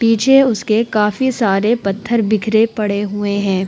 पीछे उसके काफी सारे पत्थर बिखरे पड़े हुए हैं।